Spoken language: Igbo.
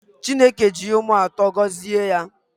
Chineke ji ụmụ atọ gọzie ya